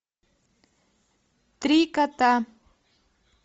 три кота